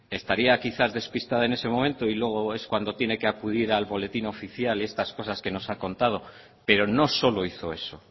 estaría quizás despistada en ese momento y luego es cuando tiene que acudir al boletín oficial y estas cosas que nos ha contado pero no solo hizo eso